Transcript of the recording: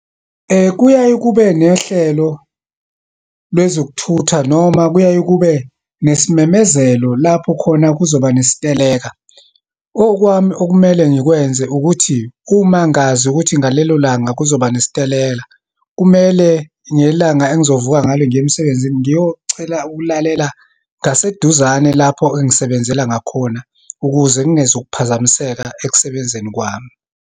Kuyaye kube nehlelo lwezokuthutha, noma kuyaye kube nesimemezelo lapho khona kuzoba nesiteleka. Okwami okumele ngikwenze ukuthi, uma ngazi ukuthi ngalelo langa kuzoba nesiteleka, kumele ngelanga engizovuka ngalo ngiye emsebenzini, ngiyocela ukulalela ngaseduzane lapho engisebenzela ngakhona, ukuze ngingezukuphazamiseka ekusebenzeni kwami.